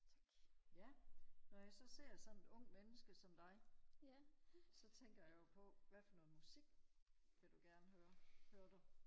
Ja når jeg så ser sådan et ungt menneske som dig så tænker jeg jo på hvad for noget musik vil du gerne høre hører du